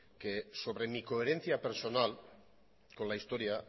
que sobre mi coherencia personal con la historia